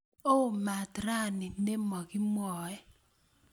Oo maat rani ne mokimwoey